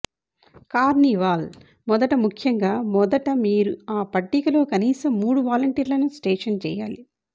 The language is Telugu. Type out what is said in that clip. కార్నివాల్ మొదట ముఖ్యంగా మొదట మీరు ఆ పట్టికలో కనీసం మూడు వాలంటీర్లను స్టేషన్ చేయాలి